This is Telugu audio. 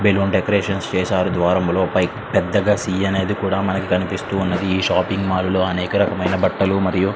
బాలలోన డెకొరేషన్ చేశారు ద్వారంలో పెద్ద క అనే అక్షరం అనే రాసి ఉంచారు.